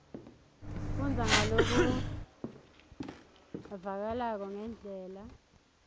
fundza ngalokuvakalako ngendlela